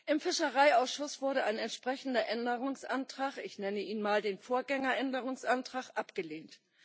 Im Fischereiausschuss wurde ein entsprechender Änderungsantrag ich nenne ihn mal den Vorgänger Änderungsantrag abgelehnt.